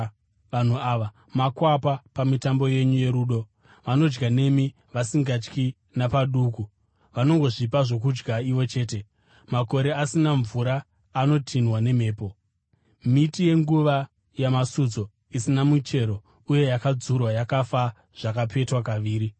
Vanhu ava makwapa pamitambo yenyu yorudo, vanodya nemi vasingatyi napaduku, vanongozvipa zvokudya ivo chete. Makore asina mvura, anotinhwa nemhepo; miti yenguva yamasutso, isina michero uye yakadzurwa, yakafa zvakapetwa kaviri.